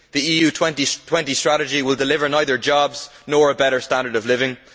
The EU 2020 strategy will deliver neither jobs nor a better standard of living.